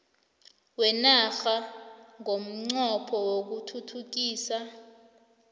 kwenarha ngomnqopho wokuthuthukisa